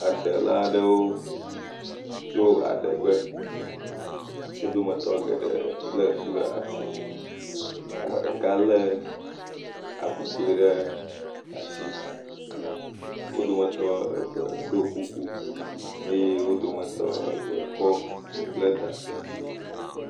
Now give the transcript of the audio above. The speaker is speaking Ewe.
Adela aɖewo tso adegbe, wo dometɔ geɖe lé tu ɖe asi, ame ɖeka lé avugbɔe ɖe asi. Wo dometɔ eve ɖɔ kuku eye wo dometɔ eve kɔ nu ble ta.